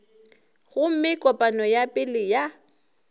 gomme kopano ya pele ya